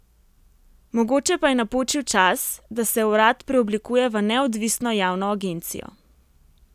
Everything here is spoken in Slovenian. Mogoče pa je napočil čas, da se urad preoblikuje v neodvisno javno agencijo.